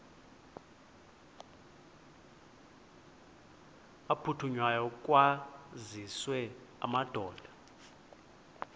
aphuthunywayo kwaziswe amadoda